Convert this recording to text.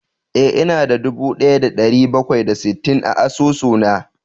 Eh, ina da dubu daya da dari bakwai da sittin a asusuna